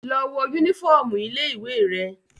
Lọ wọ yúnífọ̀ọmù ilé ìwé rẹ!